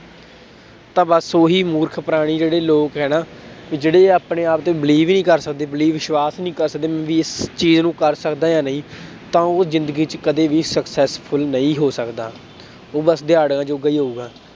ਤਾਂ ਬਸ ਉਹੀ ਮੂਰਖ ਪ੍ਰਾਣੀ ਜਿਹੜੇ ਲੋਕ ਹੈ ਨਾ ਵੀ ਜਿਹੜੇ ਆਪਣੇ ਆਪ ਤੇ believe ਹੀ ਨੀ ਕਰ ਸਕਦੇ believe ਵਿਸ਼ਵਾਸ ਨੀ ਕਰ ਸਕਦੇ ਵੀ ਇਸ ਚੀਜ਼ ਨੂੰ ਕਰ ਸਕਦਾਂ ਜਾਂ ਨਹੀਂ ਤਾਂ ਉਹ ਜ਼ਿੰਦਗੀ ਚ ਕਦੇ ਵੀ successful ਨਹੀਂ ਹੋ ਸਕਦਾ, ਉਹ ਬਸ ਦਿਹਾੜੀਆਂ ਜੋਗਾ ਹੀ ਹੋਊਗਾ।